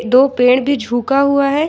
दो पेड़ भी झुका हुआ है।